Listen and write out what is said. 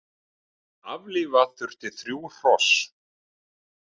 Aflífa þurfti þrjú hross